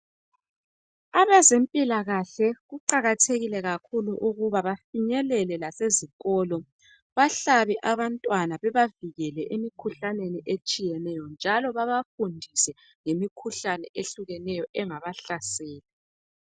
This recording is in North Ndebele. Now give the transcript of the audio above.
abezempilakahle kuqakathekile kakhulu ukuba bafinyelele lase zikolo behlabe abantwana bebavikele emikhuhlaneni etshiyeneyo njalo babafundise ngemikhuhlane etshiyeneyo engabahlasela